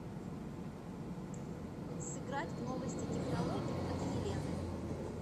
сыграть в новости технологий от елены